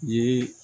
Ye